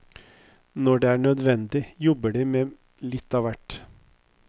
Når det er nødvendig, jobber de med litt av hvert.